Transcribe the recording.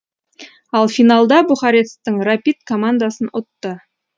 ал финалда бухаресттің рапид командасын ұтты